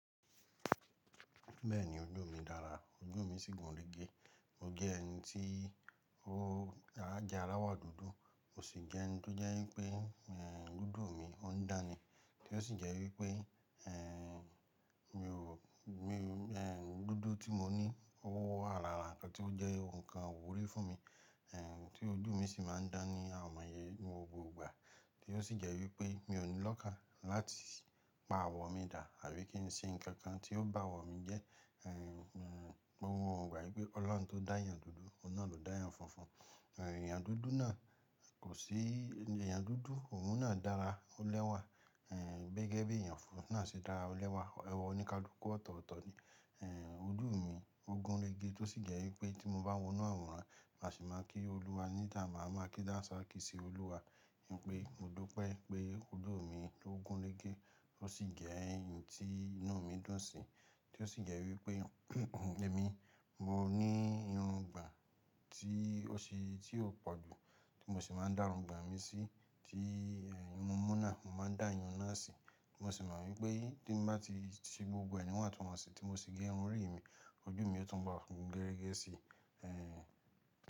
Bẹ́ẹ̀ni ojú mi dára, ojú mi sì gùn rége. Mo jẹ́ ẹni tí ó jẹ alawo dúdú, mo sì jẹ́ ẹni tó jẹ́ wípé dúdú mi ó ń dáni, tí ó sì jẹ́ wípé ẹ̀ mi ò mi-- dúdú tí mo ní owa larà ńkàn tí ó jẹ́ ǹkan ìwúrí fún mi, tí ojú mi sì máa ń dán ni àomoye ni mo gbogbo ìgbà. Tí ó sì jẹ́ wípé mi ò ní lọ́kàn láti pa àwọ̀ mi dà àbí kí n ṣe ǹkan kan tí ó bá àwọ̀ mi jẹ́. Mo mọ̀ gba wípé Ọlọ́run tó dá èyàn dúdú, òun náà ló dá èyàn funfun. Èyàn dúdú náà kò sí, èyàn dúdú òun náà dára, ó lẹ́wà. Gẹ́gẹ́ bí èyàn funfun náà ṣe dára lẹ́wà. Ẹ̀wa oníkalùku ọ̀tọ̀ọ̀tọ̀ ni. Ojú mi ó gún rége tí ó sì jẹ́ wípé tí mo bá wọnú àwòrán, màá sì máa kí Olúwa níta, màá máa kí dansaaki Olúwa. Nítorí pé mo dupẹ́ pé ojú mi ó gún rége ó sì jẹ ẹni tí inú mi dùn sí. Tí ó sì jẹ́ wípé ẹ́mi mo ní irun gbon tí ó ṣe, tí ó pọ̀jù tí mo sì máa ń dá irun gbon mi sí, tí ì irun mú náà, mo máa ń dá ìyun náà sí. Tí mo sì mọ wípé tí n bá ti ṣe gbogbo ẹ̀ ní wọn túnwọn sí tí mo sì gé irun orí mi, ojú mi ó tún bo gun gẹ́rẹ́gẹ́ sí.